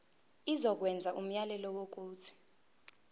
izokwenza umyalelo wokuthi